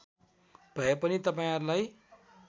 भए पनि तपाईँहरूलाई